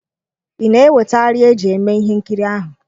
Ị na-eweta arịa eji eme ihe nkiri ahụ?